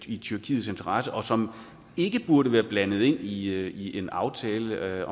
i tyrkiets interesse og som ikke burde være blandet ind i en aftale